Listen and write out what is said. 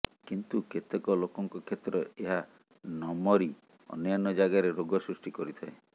କିନ୍ତୁ କେତେକ ଲୋକଙ୍କ କ୍ଷେତ୍ରରେ ଏହା ନମରି ଅନ୍ୟାନ୍ୟ ଜାଗାରେ ରୋଗ ସୃଷ୍ଟି କରିଥାଏ